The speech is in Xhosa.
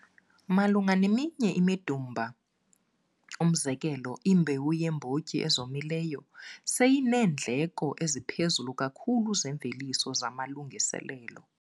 Malunga neminye imidumba, umzekelo, imbewu yeembotyi ezomileyo seyineendleko eziphezulu kakhulu zeemveliso zamalungiselelo.